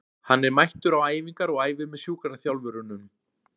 Hann er mættur á æfingar og æfir með sjúkraþjálfurunum.